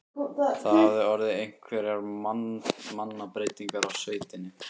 Það hafa orðið einhverjar mannabreytingar á sveitinni?